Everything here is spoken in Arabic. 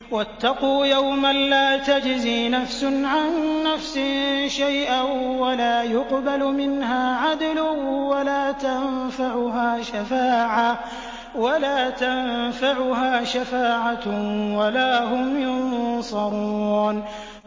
وَاتَّقُوا يَوْمًا لَّا تَجْزِي نَفْسٌ عَن نَّفْسٍ شَيْئًا وَلَا يُقْبَلُ مِنْهَا عَدْلٌ وَلَا تَنفَعُهَا شَفَاعَةٌ وَلَا هُمْ يُنصَرُونَ